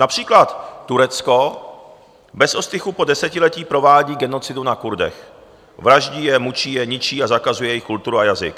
Například Turecko bez ostychu po desetiletí provádí genocidu na Kurdech, vraždí je, mučí je, ničí a zakazuje jejich kulturu a jazyk.